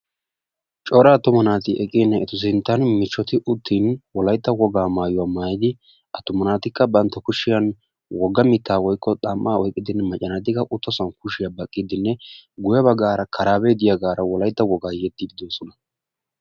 cora attuma naati eqqidan etu sinttan macca naati uttin wolaytta woga mayyidi attuma naati bantta kushiyaan macca naatikka kushiyaa baqqide guyye baggara karabe diyaagara wolaytta woga yexxiide doosona